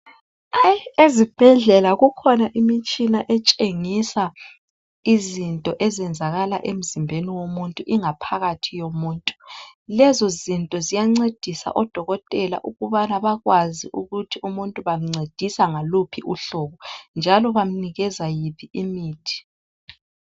Ezibhedlela kukhona imitshina etshengisa izinto ezenzakala emzimbeni womuntu, ingaphakathi yomuntu. Lezo zinto ziyancedisa odokotela ukubana bakwazi ukuthi umuntu bamncedisa ngaluphi uhlobo njalo bamnikeza yiphi imithi.